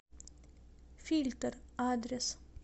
фильтр адрес